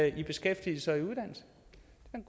i beskæftigelse